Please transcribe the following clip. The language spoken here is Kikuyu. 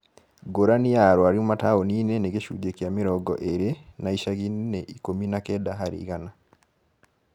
Ngũrani ya arwaru mataũni-inĩ nĩ gĩcunjĩ kĩa mĩrongo ĩĩrĩ na icagi-inĩ nĩ ikũmi na kenda harĩ igana